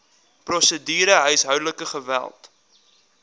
prosedure huishoudelike geweld